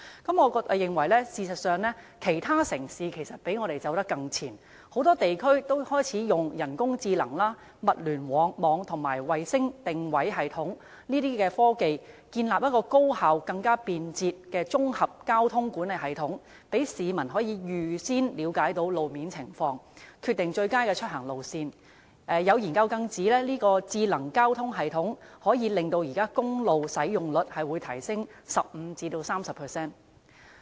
事實上，我認為其他城市較我們走得更前，有不少地區已開始使用人工智能、物聯網和衞星定位系統等科技，建立了一個高效和更便捷的綜合交通管理系統，讓市民可以預先了解路面情況，決定最佳出行路線，有研究更指智能交通系統可使現時的公路使用率提升 15% 至 30%。